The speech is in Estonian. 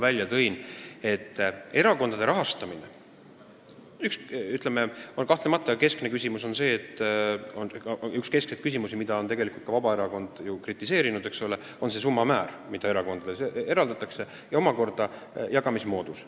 Nimelt, üks erakondade rahastamise keskseid küsimusi, mida on ka Vabaerakond kritiseerinud, on selle summa määr, mis erakondadele eraldatakse, ja ka selle jagamise moodus.